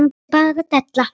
Þetta er bara della.